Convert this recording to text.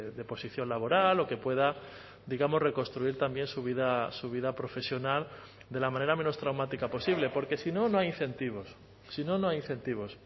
de posición laboral o que pueda digamos reconstruir también su vida su vida profesional de la manera menos traumática posible porque si no no hay incentivos si no no hay incentivos